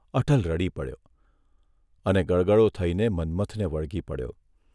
અટલ રડી પડ્યો અને ગળગળો થઇને મન્મથને વળગી પડ્યો.